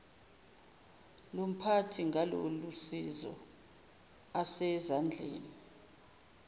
lomphathi ngalolusizo asezandleni